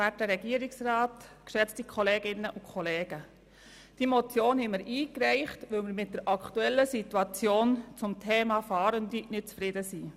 Wir haben diese Motion eingereicht, weil wir mit der aktuellen Situation zum Thema Fahrende nicht zufrieden sind.